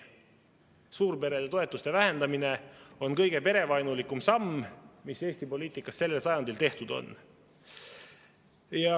Suurperede toetuste vähendamine on kõige perevaenulikum samm, mis Eesti poliitikas sellel sajandil tehtud on.